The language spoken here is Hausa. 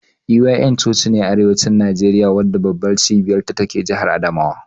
EYN cocine a arewacin Nageriya wadda babbar cibiyar ta take jahar adamawa.